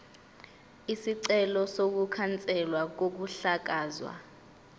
isicelo sokukhanselwa kokuhlakazwa